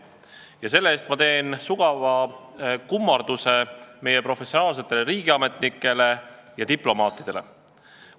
Ja selle eest ma teen sügava kummarduse meie professionaalsetele riigiametnikele ja diplomaatidele.